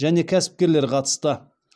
және кәсіпкерлер қатысты